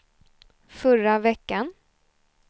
förra veckan